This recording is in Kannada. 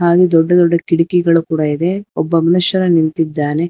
ಹಾಗೆ ದೊಡ್ಡ ದೊಡ್ಡ ಕಿಟಕಿಗಳೂ ಕೂಡ ಇವೆ ಒಬ್ಬ ಮನುಷ್ಯನು ನಿಂತಿದ್ದಾನೆ.